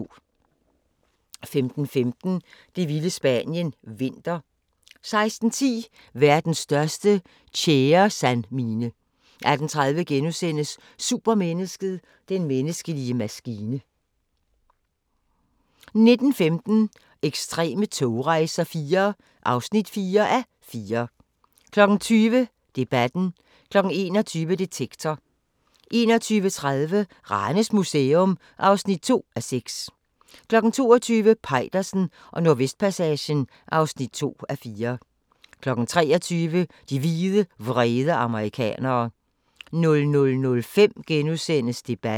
15:15: Det vilde Spanien – vinter 16:10: Verdens største tjæresandmine 18:30: Supermennesket: Den menneskelige maskine * 19:15: Ekstreme togrejser IV (4:4) 20:00: Debatten 21:00: Detektor 21:30: Ranes Museum (2:6) 22:00: Peitersen og Nordvestpassagen (2:4) 23:00: De hvide, vrede amerikanere 00:05: Debatten *